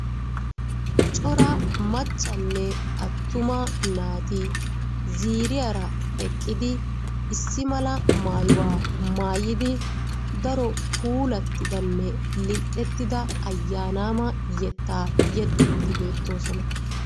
Cora maccanne attumma naati ziiriyaara eqqidi issi mala maayuwaa maayidi daro puulattidanne lil"ettida ayyanaama yeetta yeexxidi beettoosona.